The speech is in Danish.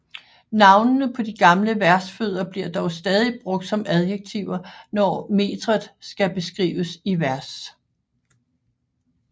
Navnene på de gamle versfødder bliver dog stadig brugt som adjektiver når metret skal beskrives i vers